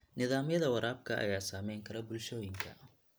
Nidaamyada waraabka ayaa saameyn kara bulshooyinka.